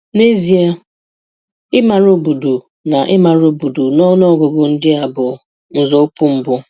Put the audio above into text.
N'ezie, ịmara obodo na ịmara obodo na ọnụ ọgụgụ ndị a bụ nzọụkwụ mbụ